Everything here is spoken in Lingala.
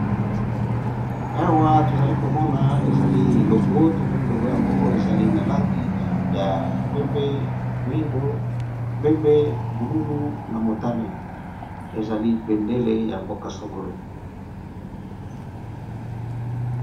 Awa tozali komona ezali logo. Tomoni logo yango ezali na langi ya pembe, moyindo, pembe, bululu, na motane, ezali bendele ya mboka songolo.